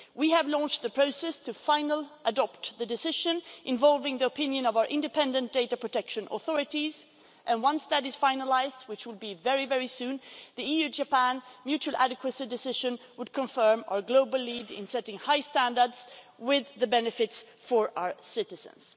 We have launched the process to adopt the final decision involving the opinion of our independent data protection authorities and, once that is finalised, which will be very soon, the EU Japan mutual adequacy decision would confirm our global lead in setting high standards for the benefit of our citizens.